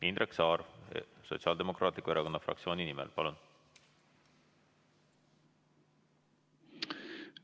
Indrek Saar Sotsiaaldemokraatliku Erakonna fraktsiooni nimel, palun!